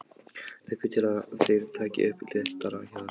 Leggur til að þeir taki upp léttara hjal.